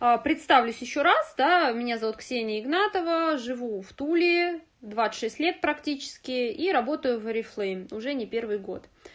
а представлюсь ещё раз да меня зовут ксения игнатова живу в туле двадцать шесть лет практически и работаю в орифлейм уже не первый год